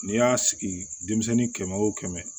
N'i y'a sigi denmisɛnnin kɛmɛ o kɛmɛ